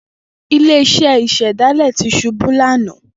Ile-iṣẹ naa yoo ṣe ifilọlẹ ọja tuntun ni ọdun to nbọ.